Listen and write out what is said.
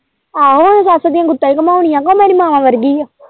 ਆਹੋ ਹੁਣ ਸੱਸ ਦੀਆਂ ਗੁੱਤਾਂ ਹੀ ਘੁੰਮਾਉਣੀਆਂ ਕਿ ਉਹ ਮੇਰੀ ਮਾਂ ਵਰਗੀ।